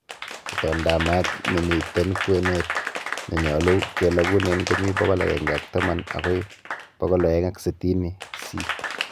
Itondaab maat nemiten kwenet nenyolu kelogunen komi 110 bokoi 260c.